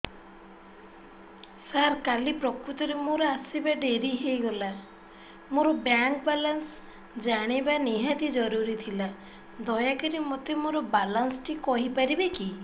ସାର କାଲି ପ୍ରକୃତରେ ମୋର ଆସିବା ଡେରି ହେଇଗଲା ମୋର ବ୍ୟାଙ୍କ ବାଲାନ୍ସ ଜାଣିବା ନିହାତି ଜରୁରୀ ଥିଲା ଦୟାକରି ମୋତେ ମୋର ବାଲାନ୍ସ ଟି କହିପାରିବେକି